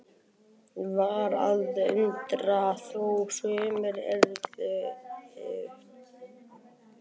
Var að undra þó sumir yrðu skelkaðir?